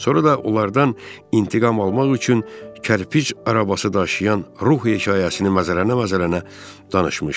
Sonra da onlardan intiqam almaq üçün kərpic arabası daşıyan ruh hekayəsini məzərə-məzərə danışmışdı.